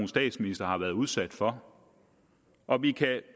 statsministre har været udsat for og vi kan